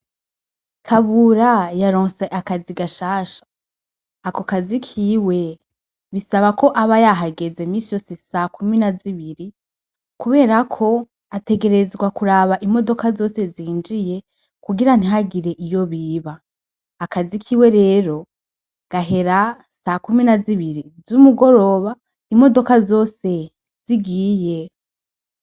Kabura yaronse akazi gashasha, ako kazi kiwe bisabako aba yahageze imisi yose sakumi na zibiri kuberako ,ategerezwa kuraba imodoka zose zinjiye kugira ntihagire iyo biba . Akazi kiwe rero gahera ,sakumi na zibiri z'umugoroba , imodoka zose zigiye.